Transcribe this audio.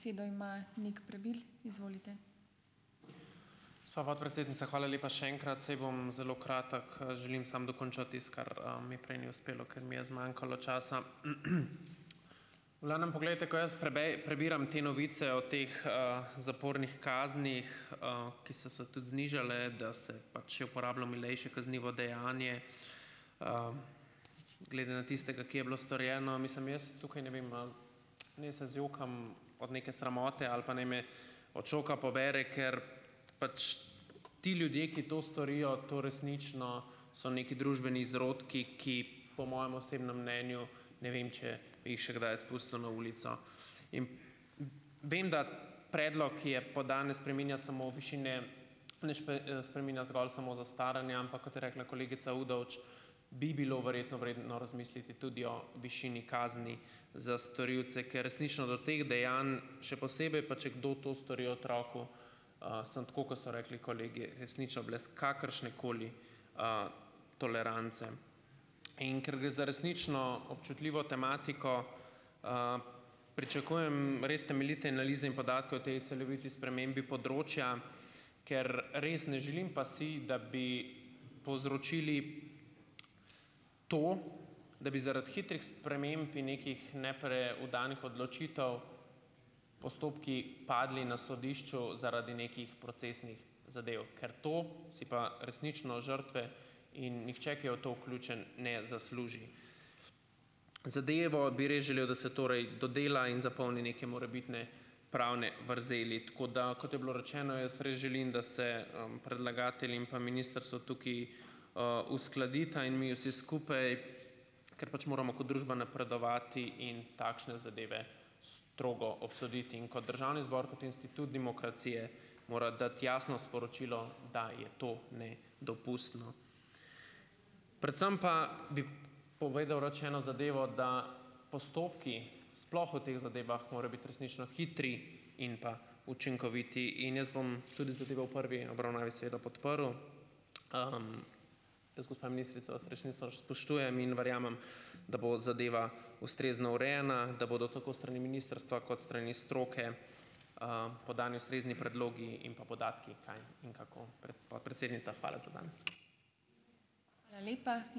Besedo ima Nik Prebil, izvolite. Gospa podpredsednica, hvala lepa še enkrat. Saj bom zelo kratek. Želim samo dokončati tisto, kar mi prej ni uspelo, ker mi je zmanjkalo časa. V glavnem poglejte, ko jaz prebiram te novice o teh, zapornih kaznih, ki so se tudi znižale, da se pač uporablja milejše kaznivo dejanje, glede na tistega, ki je bilo storjeno. Mislim jaz tukaj, ne vem, no, naj se zjokam od neke sramote ali pa naj me od šoka pobere, ker pač ti ljudje, ki to storijo, to resnično so neki družbeni izrodki, ki po mojem osebnem mnenju, ne vem, če bi jih še kdaj spustil na ulico. In vem, da predlog, ki je danes spreminja samo višine, nič pa, spreminja zgolj samo zastaranja, ampak kot je rekla kolegica Udovč, bi bilo verjetno vredno razmisliti tudi o višini kazni za storilce, ker resnično do teh dejanj, še posebej pa če kdo to stori otroku, sem tako, kot so rekli kolegi, resnično brez kakršnekoli, tolerance. In ker gre za resnično občutljivo tematiko, pričakujem res temeljite analize in podatke o tej celoviti spremembi področja, ker res ne želim pa si, da bi povzročili to, da bi zaradi hitrih sprememb in nekih nepreudarnih odločitev postopki padli na sodišču zaradi nekih procesnih zadev, ker to si pa resnično žrtve in nihče, ki je v to vključen, ne zasluži. Zadevo bi res želel, da bi se torej dodela in zapolni neke morebitne pravne vrzeli. Tako da, kot je bilo rečeno, jaz res želim, da se, predlagatelj in pa ministrstvo tukaj, uskladita in mi vsi skupaj, ker pač moramo kot družba napredovati in takšne zadeve strogo obsoditi . In kot državni zbor, kot institut demokracije, mora dati jasno sporočilo, da je to nedopustno. Predvsem pa bi povedal rad še eno zadevo, da postopki, sploh o teh zadevah morajo biti resnično hitri in pa učinkoviti in jaz bom tudi zadevo v prvi obravnavi seveda podprl. jaz, gospa ministrica, vas spoštujem in verjamem, da bo zadeva ustrezno urejena, da bodo tako strani ministrstva kot strani stroke, podani ustrezni predlogi in pa podatki kaj in kako. podpredsednica, hvala za danes. Hvala lepa.